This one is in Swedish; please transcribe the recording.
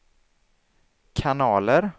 kanaler